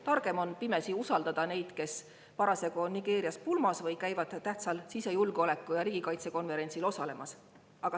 Targem on pimesi usaldada neid, kes parasjagu on Nigeerias pulmas või käivad tähtsal sisejulgeoleku ja riigikaitse konverentsil osalemas.